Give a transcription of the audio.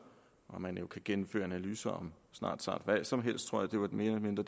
man kan jo gennemføre analyser om snart sagt hvad som helst tror jeg mere eller mindre